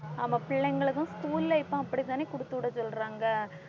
ஆமா பிள்ளைங்களுக்கும் school ல இப்ப அப்படித்தானே கொடுத்துவிட சொல்றாங்க